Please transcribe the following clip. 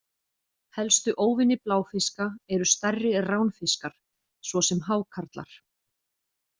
Helstu óvinir bláfiska eru stærri ránfiskar, svo sem hákarlar.